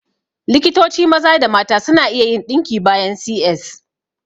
Likitoci maza da mata suna iya yin ɗinki bayan C.S